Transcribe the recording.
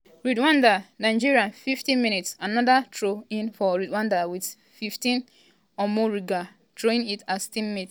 rwanda 0-0 nigeria 50mins- anoda throw-in for rwanda wit fitina omborenga throwing it as teammates bin possession dia sef.